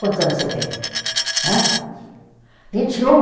Quantos anos você tem? Vinte e um. Hã? Vinte e um. Vinte e um?